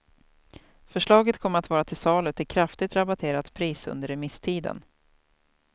Förslaget kommer att vara till salu till kraftigt rabatterat pris under remisstiden.